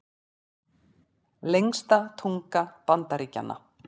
Lengsta tunga Bandaríkjanna